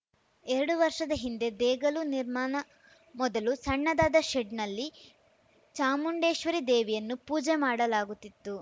ಎರಡು ವರ್ಷದ ಹಿಂದೆ ದೇಗಲು ನಿರ್ಮಾಣ ಮೊದಲು ಸಣ್ಣದಾದ ಶೆಡ್‌ನಲ್ಲಿ ಚಾಮುಂಡೇಶ್ವರಿ ದೇವಿಯನ್ನು ಪೂಜೆ ಮಾಡಲಾಗುತ್ತಿತ್ತು